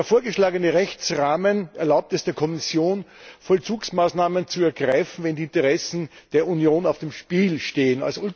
Der vorgeschlagene Rechtsrahmen erlaubt es der Kommission, Vollzugsmaßnahmen zu ergreifen, wenn die Interessen der Union auf dem Spiel stehen.